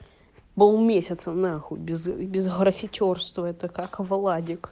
был месяца нахуй без без графитерства это как владик